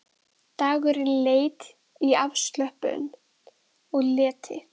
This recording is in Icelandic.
Dagurinn leið í afslöppun og leti.